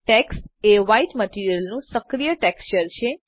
tax એ white material નું સક્રિય ટેક્સચર છે